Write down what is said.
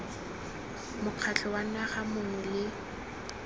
mokgatlho wa naga mongwe le